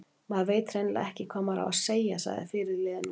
Maður veit hreinlega ekki hvað maður á að segja, sagði fyrirliðinn ungi.